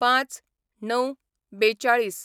०५/०९/४२